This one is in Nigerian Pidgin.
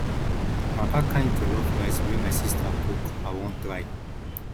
na dat kain jollof rice wey my sista cook i wan try